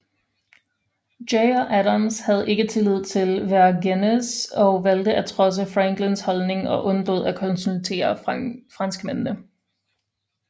Jay og Adams havde ikke tillid til Vergennes og valgte at trodse Franklins holdning og undlod at konsultere franskmændene